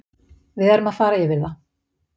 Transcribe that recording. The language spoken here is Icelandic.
Við erum að fara yfir það.